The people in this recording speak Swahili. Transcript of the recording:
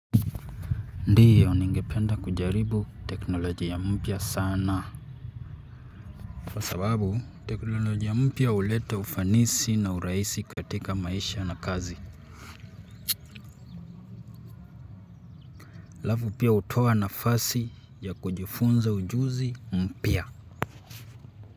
Ndiyo ningependa kujaribu teknolojia mpya sana kwa sababu teknolojia mpya huleta ufanisi na urahisi katika maisha na kazi halafu pia hutoa nafasi ya kujifunza ujuzi mpya.